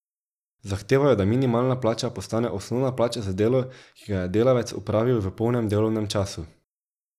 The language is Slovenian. Zahtevajo, da minimalna plača postane osnovna plača za delo, ki ga je delavec opravil v polnem delovnem času.